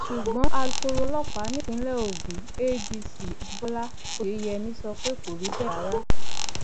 ṣùgbọn alūkkoro ọlọpàá nípìnlẹ ogun adc abibọlá oyeyèmí sọ pé kò rí bẹẹ rárá